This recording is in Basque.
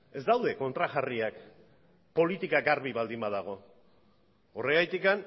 ez daude kontrajarriak politika garbi baldin badago horregatik